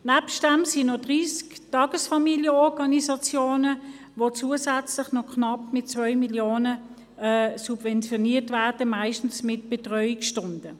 Daneben gibt es noch 30 Tagesfamilienorganisationen, die zusätzlich mit knapp 2 Mio. Franken subventioniert werden, meistens mit Betreuungsstunden.